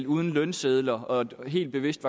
uden lønsedler og helt bevidst